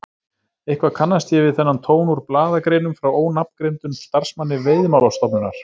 Eitthvað kannast ég við þennan tón úr blaðagreinum frá ónafngreindum starfsmanni Veiðimálastofnunar!